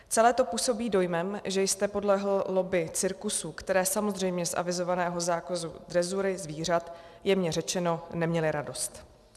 Celé to působí dojmem, že jste podlehl lobby cirkusů, které samozřejmě z avizovaného zákazu drezury zvířat, jemně řečeno, neměly radost.